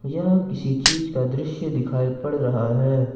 यह किसी चीज का दृश्य दिखाई पड़ रहा है।